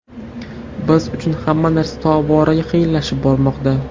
Biz uchun hamma narsa tobora qiyinlashib bormoqda.